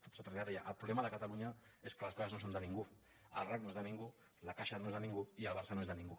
deia el problema de catalunya és que les co·ses no són de ningú el rac no és de ningú la caixa no és de ningú i el barça no és de ningú